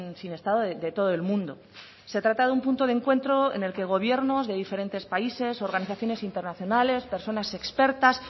sin estado de todo el mundo se trata de un punto de encuentro en el que gobiernos de diferentes países organizaciones internacionales personas expertas